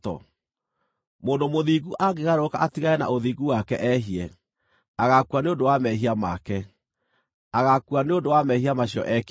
Mũndũ mũthingu angĩgarũrũka atigane na ũthingu wake ehie, agaakua nĩ ũndũ wa mehia make; agaakua nĩ ũndũ wa mehia macio ekĩte.